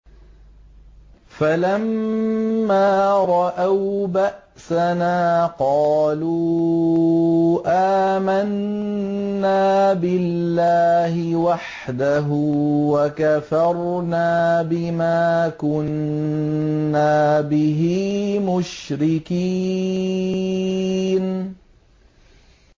فَلَمَّا رَأَوْا بَأْسَنَا قَالُوا آمَنَّا بِاللَّهِ وَحْدَهُ وَكَفَرْنَا بِمَا كُنَّا بِهِ مُشْرِكِينَ